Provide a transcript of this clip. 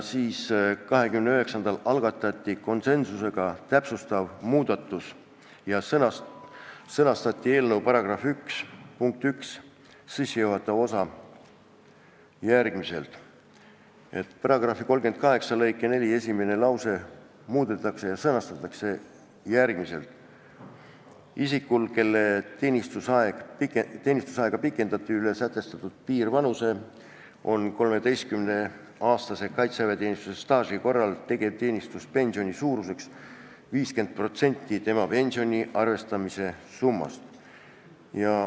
29. jaanuaril algatati konsensusega täpsustav muudatus ja sõnastati eelnõu § 1 punkt 1 sissejuhatav osa nii: "1) paragrahvi 38 lõige 4 muudetakse ja sõnastatakse järgmiselt: "Isikul, kelle teenistusaega pikendati üle sätestatud piirvanuse, on 13-aastase kaitseväeteenistuse staaži korral tegevteenistuspensioni suuruseks 50 protsenti tema pensioni arvestamise summast."